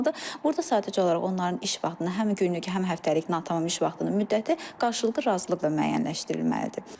Burada sadəcə olaraq onların iş vaxtına, həm günlük, həm həftəlik natamam iş vaxtının müddəti qarşılıqlı razılıqla müəyyənləşdirilməlidir.